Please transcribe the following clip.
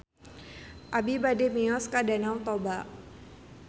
Abi bade mios ka Danau Toba